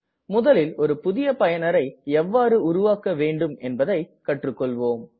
முதலில் ஒரு புதிய பயனர் எவ்வாறு உருவாக்க வேண்டும் என்பதை கற்று கொள்வோம்